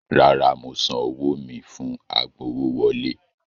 Rárá, mo san owó mi fún agbowówọlé.